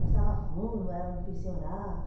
Passava fome, morava no pensionato.